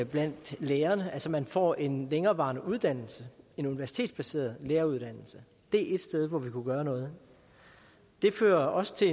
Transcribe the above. blandt lærerne altså man får en længerevarende uddannelse en universitetsbaseret læreruddannelse det er ét sted hvor vi kunne gøre noget det fører også til